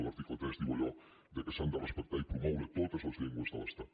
l’article tres diu allò que s’han de respectar i promoure totes les llengües de l’estat